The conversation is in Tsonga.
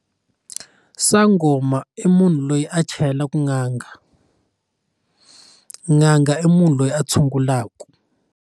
Sangoma i munhu loyi a chayelaka n'anga n'anga i munhu loyi a tshungulaku.